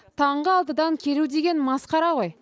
таңғы алтыдан келу деген масқара ғой